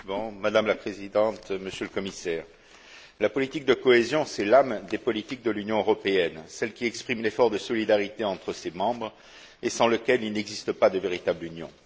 Madame la Présidente, Monsieur le Commissaire, la politique de cohésion, c'est l'âme des politiques de l'Union européenne, celle qui exprime l'effort de solidarité entre ses membres, sans lequel il n'existe pas de véritable Union.